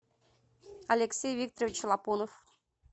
алексей викторович лапунов